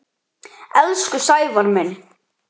Elsku Sævar minn.